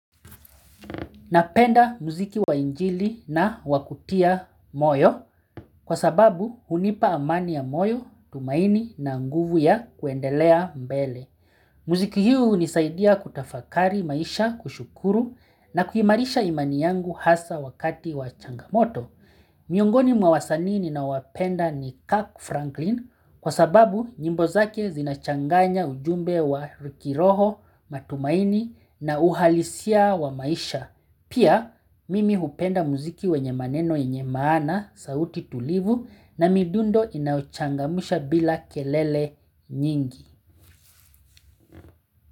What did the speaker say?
Napenda muziki wa injili na wakutia moyo kwa sababu hunipa amani ya moyo, tumaini na nguvu ya kuendelea mbele. Muziki hunisaidia kutafakari maisha kushukuru na kuiimarisha imani yangu hasa wakati wa changamoto. Miongoni mwa wasanii ninawapenda ni Kirk Franklin kwa sababu nyimbo zake zinachanganya ujumbe wa kiroho, matumaini na uhalisia wa maisha. Pia mimi hupenda muziki wenye maneno yenye maana, sauti tulivu na midundo inayochangamsha bila kelele nyingi.